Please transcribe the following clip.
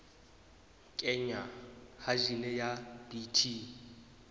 kenngwa ha jine ya bt